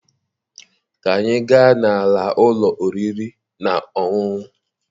Ka anyị gaa n'ala ụlọ oriri na ọṅụṅụ.